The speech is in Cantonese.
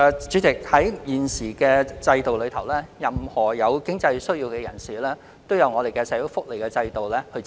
主席，在現行制度下，任何人如有經濟需要，均可透過社會福利制度獲得支援。